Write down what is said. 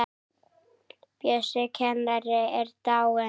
Bjössi kennari er dáinn.